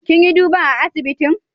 Kin yi duban a'asibitin?